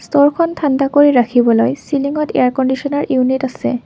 ষ্টোৰখন ঠাণ্ডা কৰি ৰাখিবলৈ চিলিঙত এয়াৰ কন্দিচনাৰ ইউনিট আছে।